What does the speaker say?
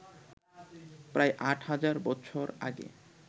প্রায় আট হাজার বছর আগে